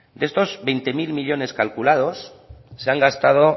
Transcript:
de estos veinte mil millónes calculados se han gastado